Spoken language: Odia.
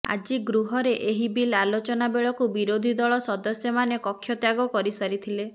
ଆଜି ଗୃହରେ ଏହି ବିଲ୍ ଆଲୋଚନା ବେଳକୁ ବିରୋଧୀ ଦଳ ସଦସ୍ୟମାନେ କକ୍ଷତ୍ୟାଗ କରିସାରିଥିଲେ